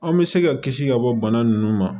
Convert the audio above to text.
An bɛ se ka kisi ka bɔ bana nunnu ma